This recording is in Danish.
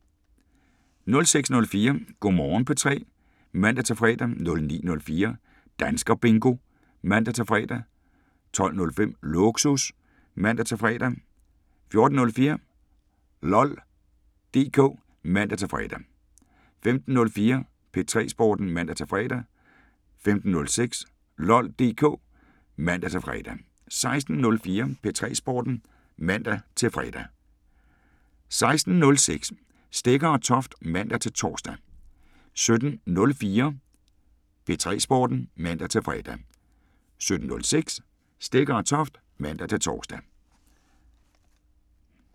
06:04: Go' Morgen P3 (man-fre) 09:04: Danskerbingo (man-fre) 12:05: Lågsus (man-fre) 14:04: LOL DK (man-fre) 15:04: P3 Sporten (man-fre) 15:06: LOL DK (man-fre) 16:04: P3 Sporten (man-fre) 16:06: Stegger & Toft (man-tor) 17:04: P3 Sporten (man-fre) 17:06: Stegger & Toft (man-tor)